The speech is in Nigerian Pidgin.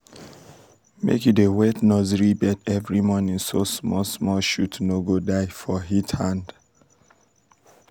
make you dey wet nursery bed every morning so small small shoots no go die for heat hand.